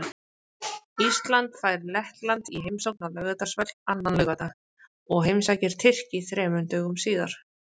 Ísland fær Lettland í heimsókn á Laugardalsvöll annan laugardag og heimsækir Tyrki þremur dögum síðar.